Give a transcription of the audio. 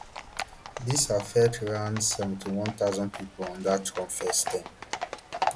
dis affect around seventy-one thousand pipo under trump first term